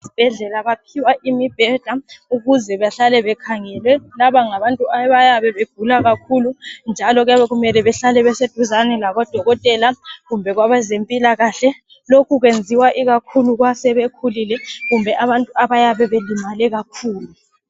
Esibhedlela baphiwa imibheda ukuze bahlale bekhangelwe, laba ngabantu abayabe begula kakhulu njalo kuyabe kumele behlale beseduzane labodokotela kumbe kwabezempilakahle lokhu kwenziwa ikakhulu kwabasekhulile kumbe abantu abayabe belimele kakhulu.